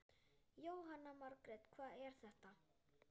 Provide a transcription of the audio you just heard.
Jóhanna Margrét: Hvað er þetta?